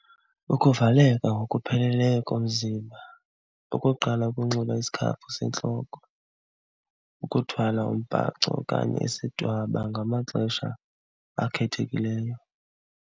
Ukuvaleka ngokupheleleyo komzimba. Ukokuqala ukunxiba isikhafu sentloko, ukuthwala umbhaco okanye isidwaba ngamaxesha akhethekileyo.